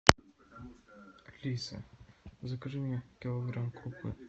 алиса закажи мне килограмм крупы